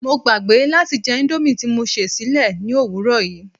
Mo gbàgbé láti jẹ indomie ti mo sè sílé ni òwúrò yii